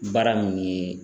Baara min ye